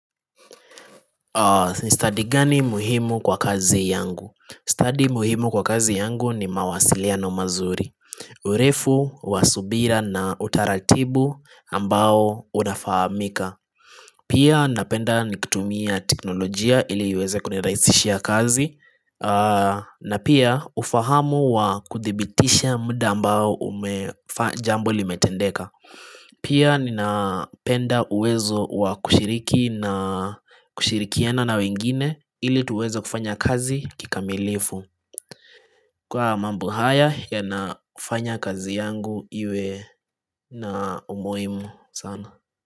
Study gani muhimu kwa kazi yangu? Stadi muhimu kwa kazi yangu ni mawasiliano mazuri. Urefu wa subira na utaratibu ambao unafahamika. Pia napenda nikitumia teknolojia ili iweze kunirahisishia kazi na pia ufahamu wa kuthibitisha muda ambao umefanya jambo limetendeka. Pia ninapenda uwezo wa kushiriki na kushirikiana na wengine ili tuweze kufanya kazi kikamilifu. Kwa mambo haya yanafanya kazi yangu iwe na umhimu sana.